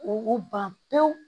O ban pewu